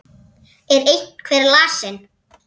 Er einhver lasinn?